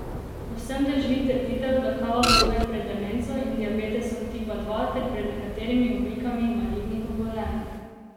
Povsem drži trditev, da kava varuje pred demenco in diabetesom tipa dva ter pred nekaterimi oblikami malignih obolenj.